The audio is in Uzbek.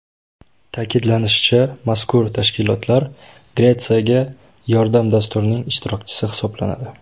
Ta’kidlanishicha, mazkur tashkilotlar Gretsiyaga yordam dasturining ishtirokchisi hisoblanadi.